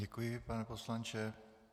Děkuji, pane poslanče.